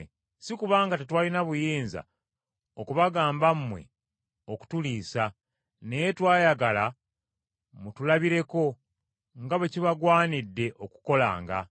Si kubanga tetwalina buyinza okubagamba mmwe okutuliisa, naye twayagala mutulabireko nga bwe kibagwanidde okukolanga.